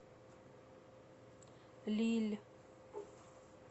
лилль